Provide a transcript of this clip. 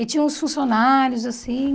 E tinha uns funcionários, assim.